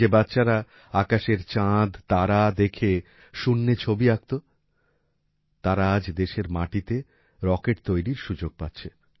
যে বাচ্চারা আকাশের চাঁদ তারা দেখে শূন্যে ছবি আকত তারা আজ দেশের মাটিতে রকেট তৈরির সুযোগ পাচ্ছে